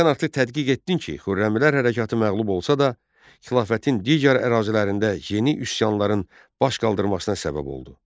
Sənarlı tədqiq etdin ki, Xürrəmilər Hərəkatı məğlub olsa da, xilafətin digər ərazilərində yeni üsyanların baş qaldırmasına səbəb oldu.